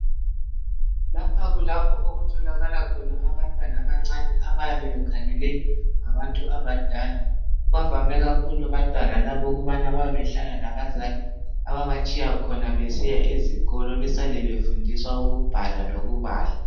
lapha kulapho okutholakala khona abantwana abancane abayabe bekhangelwe ngabantu abadala bavame kakhulu abantwana laba bayabe behlala labazali ababatshiya khona besiya ezikolo basale befundiswa ukubhala lokubala